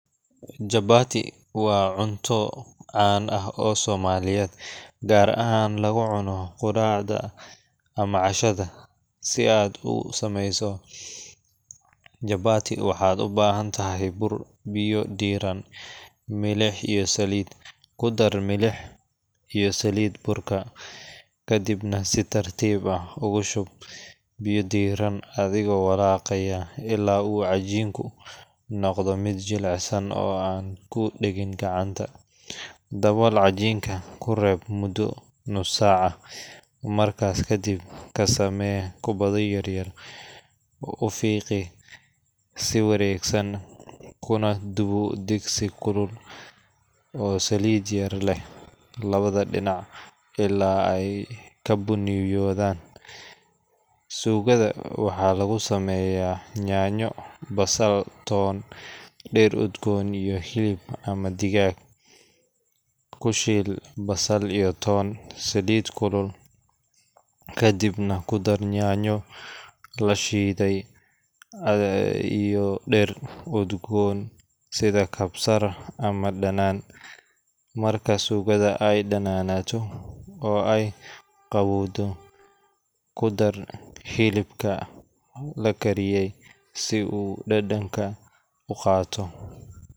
Chapati waa cunto caan ah oo Soomaaliyeed, gaar ahaan lagu cuno quraacda ama cashada. Si aad u samayso chapati, waxaad u baahantahay bur, biyo diirran, milix, iyo saliid. Ku dar milix iyo saliid burka, kadibna si tartiib ah ugu shub biyo diirran adigoo walaaqaya ilaa uu cajiinku noqdo mid jilicsan oo aan ku dhegin gacanta. Dabool cajiinka kuna reeb muddo nus saac ah. Markaas kadib, ka samee kubbado yaryar, u fiiqi si wareegsan, kuna dubo digsi kulul oo saliid yar leh labada dhinac ilaa ay ka bunniyahaadaan. Suugada waxaa lagu sameeyaa yaanyo, basal, toon, dhir udgoon, iyo hilib ama digaag. Ku shiil basal iyo toonta saliid kulul, kadibna ku dar yaanyo la shiiday iyo dhir udgoon sida kabsar ama dhanaan. Marka suugada ay dhadhanto oo ay qaroowdo, ku dar hilibka la kariyey si uu dhadhanka u qaato.